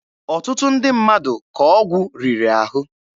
Ọtụtụ ndị mmadụ ka ọgwụ riri ahụ.